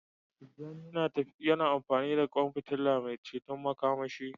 Tijjani yana amfani da kwan fitila mai ceton makamashi.